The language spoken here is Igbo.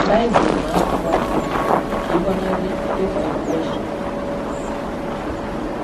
Baịbụl na-agba gị ume ka ị “gbanarị ịkwa iko ọsọ.